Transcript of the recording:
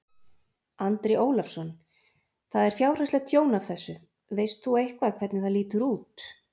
Andri Ólafsson: Það er fjárhagslegt tjón af þessu, veist þú eitthvað hvernig það lítur út?